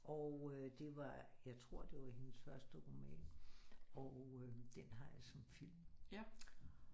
Og øh det var jeg tror det var hendes første roman og øh den har jeg som film